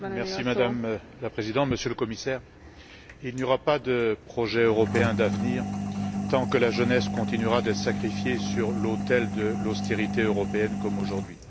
Madame la Présidente, Monsieur le Commissaire, il n'y aura pas de projet européen d'avenir tant que la jeunesse continuera d'être sacrifiée sur l'autel de l'austérité européenne comme aujourd'hui.